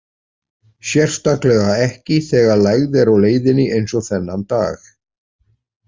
Sérstaklega ekki þegar lægð er á leiðinni eins og þennan dag.